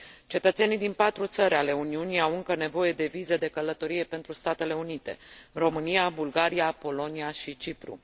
Cetățenii din patru țări ale Uniunii au încă nevoie de viză de călătorie pentru Statele Unite România, Bulgaria, Polonia și Cipru.